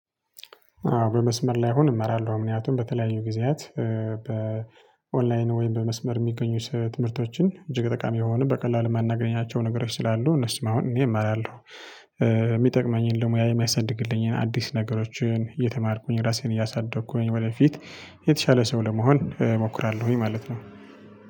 በመስመር ላይ አሁን እማራለሁ ምክንያቱም በተለያዩ ጊዜያት በኦንላይን ወይም በመስመር የሚገኙ ትምህርቶችን እጅግ ጠቃሚ የሆኑ በቀላሉ ማናገኛቸው ነገሮች ስላሉ እነሱም አሁን እኔ እማራለሁ። የሚጠቅመኝን ለሙያ የሚያሳድግልኝን አዲስ ነገሮችን እየተማርኩኝ ራሴን እያሳደግኩኝ ወደፊት የተሻለ ሰው ለመሆን እሞክራለሁኝ ማለት ነው።